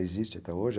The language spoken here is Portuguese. Existe até hoje.